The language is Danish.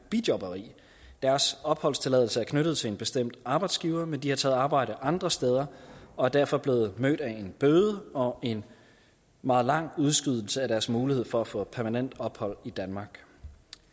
bijobberi deres opholdstilladelse er knyttet til en bestemt arbejdsgiver men de har taget arbejde andre steder og er derfor blevet mødt med en bøde og en meget lang udskydelse af deres mulighed for at få permanent ophold i danmark